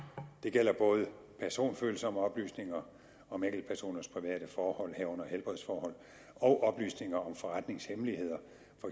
det gælder både personfølsomme oplysninger om enkeltpersoners private forhold herunder helbredsforhold og oplysninger om forretningshemmeligheder